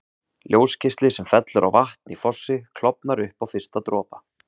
Ljósgeisli sem fellur á vatn í fossi klofnar upp á fyrsta dropa.